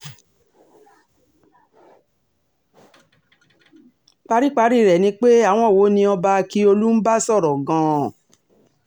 paríparí rẹ̀ ni pé àwọn wo ni ọba ákíọ̀lù ń bá sọ̀rọ̀ gan-an